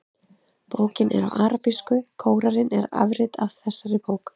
Bókin er á arabísku og Kóraninn er afrit þessarar bókar.